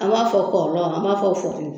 An b'a fɔ kɔri an b'a fɔ fɔrili